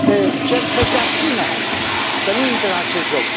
Deci le cer să se abțină, să nu intre în acest joc.